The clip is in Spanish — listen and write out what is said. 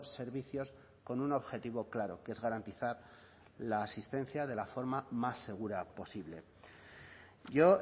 servicios con un objetivo claro que es garantizar la asistencia de la forma más segura posible yo